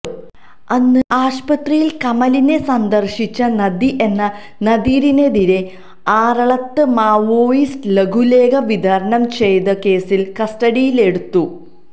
അന്ന് ആശുപത്രിയിൽ കമലിനെ സന്ദർശിച്ച നദി എന്ന നദീറിനെതിരെ ആറളത്ത് മാവോയിസ്റ്റ് ലഘുലേഖ വിതരണം ചെയ്ത കേസിൽ കസ്റ്റഡിയിലെടുത്തു